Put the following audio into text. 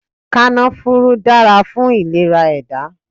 Kànáfùrù dára fún ìlera ẹ̀dá